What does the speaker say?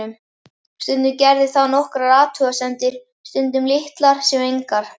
Stundum gerði það nokkrar athugasemdir, stundum litlar sem engar.